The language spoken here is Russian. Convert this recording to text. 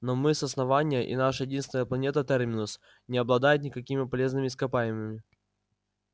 но мы с основания и наша единственная планета терминус не обладает никакими полезными ископаемыми